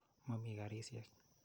Ma mii karisyek.